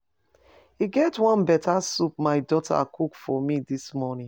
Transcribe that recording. E get one beta soup my daughter cook for me dis morning.